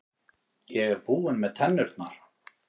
Ég er búinn með tennurnar.